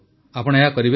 ଆପଣ ଏହା କରିବେ ତ